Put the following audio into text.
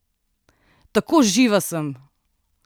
Tako živa sem!